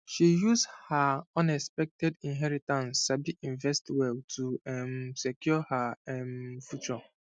she use her unexpected inheritance sabi invest well to um secure her um future